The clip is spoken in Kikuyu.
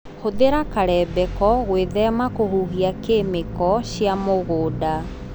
Hũthĩra karembeko gwĩthema kũhuhia kĩmĩko cia mũgunda.